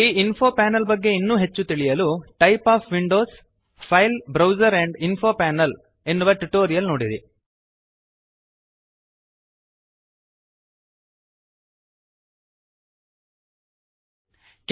ಈ info panel ಬಗ್ಗೆ ಇನ್ನೂ ಹೆಚ್ಚು ತಿಳಿಯಲು type of Windows file browser and info panel type of Windows - file browser and info panel ಎನ್ನುವ ಟ್ಯುಟೋರಿಯಲ್ ನೋಡಿರಿ